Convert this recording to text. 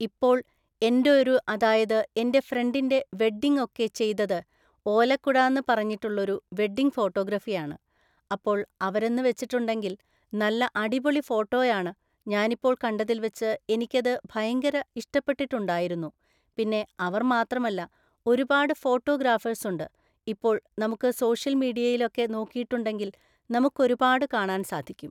ഇപ്പോൾ എൻ്റൊരു അതായത് എൻ്റെ ഫ്രണ്ടിൻ്റെ വെഡ്ഡിങ് ഒക്കെ ചെയ്തത് ഓലക്കുടാന്ന് പറഞ്ഞിട്ടുള്ളൊരു വെഡ്ഡിങ് ഫോട്ടോഗ്രഫിയാണ് അപ്പോൾ അവരെന്ന്‌ വെച്ചിട്ടുണ്ടെങ്കിൽ നല്ല അടിപൊളി ഫോട്ടോയാണ് ഞാനിപ്പോൾ കണ്ടതില്‍ വെച്ച് എനിക്കത് ഭയങ്കര ഇഷ്ടപ്പെട്ടിട്ടുണ്ടായിരുന്നു പിന്നെ അവര്‍ മാത്രല്ല ഒരുപാട് ഫോട്ടോ ഗ്രാഫേഴ്‌സുണ്ട് ഇപ്പോൾ നമുക്ക് സോഷ്യൽ മീഡിയയിലൊക്കെ നോക്കിട്ടുണ്ടെങ്കിൽ നമുക്കൊരുപാട് കാണാൻ സാധിക്കും